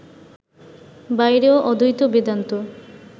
বাইরেও অদ্বৈত বেদান্ত